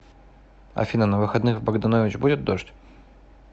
афина на выходных в богданович будет дождь